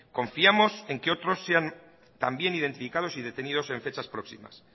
confiamos en que otros sean también identificados y detenidos en fechas próximas